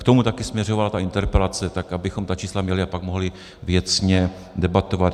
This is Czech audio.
K tomu také směřovala ta interpelace, tak abychom ta čísla měli a pak mohli věcně debatovat.